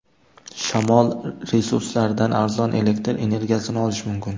Shamol resurslaridan arzon elektr energiyasini olish mumkin.